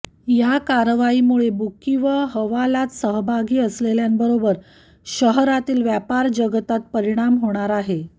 या कारवाईमुळे बुकी व हवालात सहभागी असलेल्यांबरोबर शहरातील व्यापार जगतात परिणाम होणार आहे